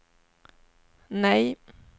nej